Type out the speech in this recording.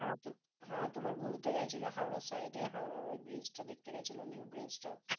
হ্যাঁ তো হ্যাঁ তোমার ঘুরতে গেছিল হাওড়া side এ হাওড়ার ওই ব্রিজটা দেখতে গেছিল new ব্রিজটা